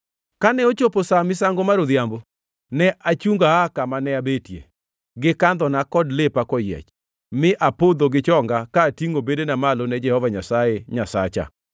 Kane ochopo sa misango mar odhiambo, ne achungo aa kama ne abetie, gi kandhona kod lepa koyiech, mi apodho gi chonga ka atingʼo bedena malo ne Jehova Nyasaye Nyasacha.